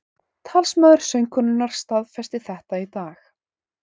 Talsmaður söngkonunnar staðfesti þetta í dag